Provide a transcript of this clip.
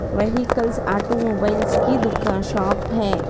Vehicles automobiles की दुकान shop है।